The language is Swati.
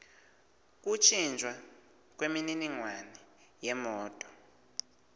kuntjintjwa kwemininingwane yemoti